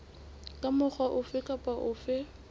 ka mokgwa ofe kapa ofe